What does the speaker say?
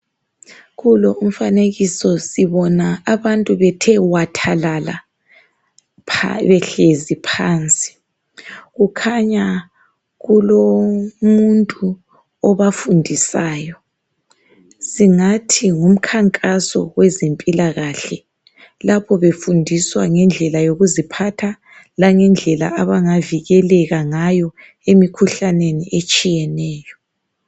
Kulo umfanikiso sibona abantu bethe wathalala pha behlezi phansi. Kukhanya kulomuntu obafundisayo. Singathi ngumkhankaso wezempilakahle lapho befundiswa ngendlela yokuziphatha langendlela abangavikeleka ngayo emikhuhlaneni etshiyeneyo.